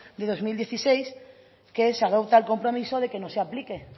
de dos mil dieciséis que se adopta el compromiso de que no se aplique